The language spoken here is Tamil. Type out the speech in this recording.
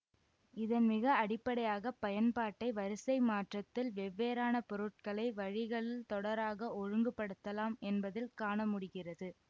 இதன் மிக அடிப்படையாக பயன்பாட்டை வரிசை மாற்றத்தில் வெவ்வேறான பொருட்களை வழிகள் தொடராக ஒழுங்குபடுத்தலாம் என்பதில் காணமுடிகிறது